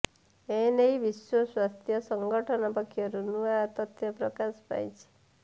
ଏନେଇ ବିଶ୍ବ ସ୍ବାସ୍ଥ୍ୟ ସଙ୍ଗଠନ ପକ୍ଷରୁ ନୂଆ ତଥ୍ୟ ପ୍ରକାଶ ପାଇଛି